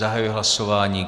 Zahajuji hlasování.